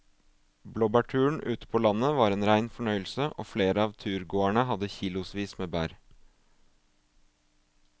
Blåbærturen ute på landet var en rein fornøyelse og flere av turgåerene hadde kilosvis med bær.